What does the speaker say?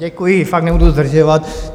Děkuji, fakt nebudu zdržovat.